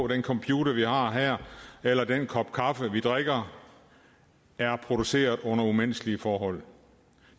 den computer vi har her eller den kop kaffe vi drikker er produceret under umenneskelige forhold